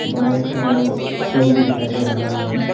बहुत सारा स्ट्रा भी दिखाई दे रहा है।